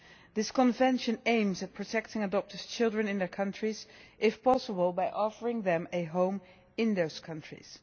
This Convention aims at protecting adopted children in their countries, if possible by offering them a home in those countries.